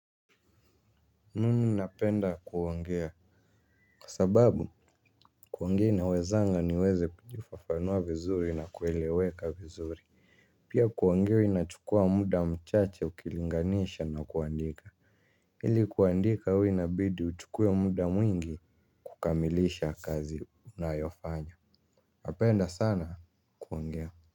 Mimi napenda kuongea kwa sababu kuongea inawezanga niweze kujifafanua vizuri na kueleweka vizuri. Pia kuongea inachukua muda mchache ukilinganisha na kuandika ili kuandika huwa inabidi uchukuwe muda mwingi kukamilisha kazi unayofanya napenda sana kuongea.